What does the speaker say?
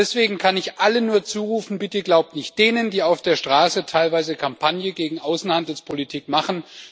Deswegen kann ich allen nur zurufen Bitte glaubt nicht denen, die auf der Straße teilweise Kampagne gegen Außenhandelspolitik machen.